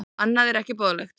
Annað er ekki boðlegt.